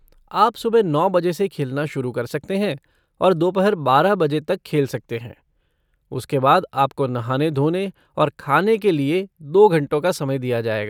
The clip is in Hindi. आप सुबह नौ बजे से खेलना शुरू कर सकते हैं और दोपहर बारह बजे तक खेल सकते हैं, उसके बाद आपको नहाने धोने और खाने के लिए दो घंटों का समय दिया जाएगा।